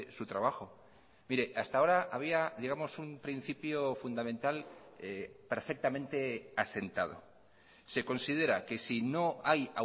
su trabajo mire hasta ahora había digamos un principio fundamental perfectamente asentado se considera que si no hay